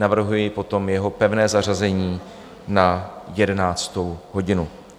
Navrhuji potom jeho pevné zařazení na 11. hodinu.